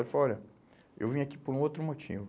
Ele falou, olha, eu vim aqui por um outro motivo.